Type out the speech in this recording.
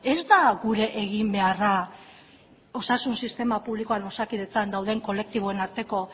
ez da gure eginbeharra osasun sistema publikoan osakidetzan dauden kolektiboen arteko